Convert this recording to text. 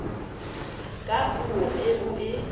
ka puo e o e